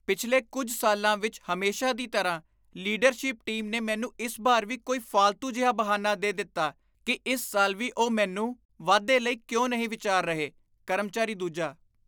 ਪਿਛਲੇ ਕੁੱਝ ਸਾਲਾਂ ਵਿੱਚ ਹਮੇਸ਼ਾ ਦੀ ਤਰ੍ਹਾਂ, ਲੀਡਰਸ਼ਿਪ ਟੀਮ ਨੇ ਮੈਨੂੰ ਇਸ ਬਾਰ ਵੀ ਕੋਈ ਫਾਲਤੂ ਜਿਹਾ ਬਹਾਨਾ ਦੇ ਦਿੱਤਾ ਕੀ ਇਸ ਸਾਲ ਵੀ ਉਹ ਮੈਨੂੰ ਵਾਧੇ ਲਈ ਕਿਉਂ ਨਹੀਂ ਵਿਚਾਰ ਰਹੇ ਕਰਮਚਾਰੀ ਦੂਜਾ